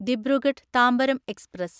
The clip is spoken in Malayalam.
ദിബ്രുഗഡ് താമ്പരം എക്സ്പ്രസ്